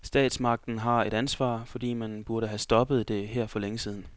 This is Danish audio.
Statsmagten har et ansvar, fordi man burde have stoppet det her for længe siden.